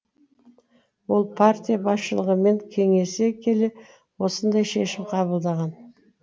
ол партия басшылығымен кеңесе келе осындай шешім қабылдаған